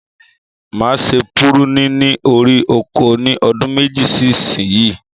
Ma se púrúnì ní orí oko ni ọdún méjì sí ìsìn yìí